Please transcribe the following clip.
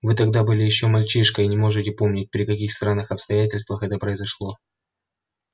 вы тогда были ещё мальчишкой и не можете помнить при каких странных обстоятельствах это произошло